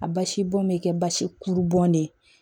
A basibɔn bɛ kɛ basi kuru bɔn de